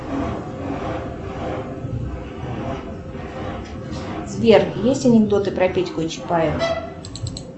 сбер есть анекдоты про петьку и чапаева